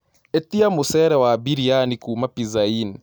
ĩtĩa mũchere wa biriani kũũma pizza inn